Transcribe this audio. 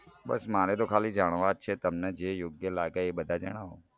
બસ મારે તો ખાલી જાણવા જ છે તમને જે યોગ્ય લાગે એ બધા જણાવો